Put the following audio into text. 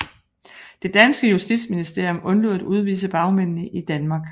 Det danske justitsministerium undlod at udvise bagmændene i Danmark